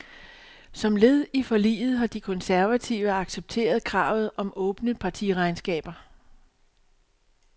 Som led i forliget har de konservative accepteret kravet om åbne partiregnskaber.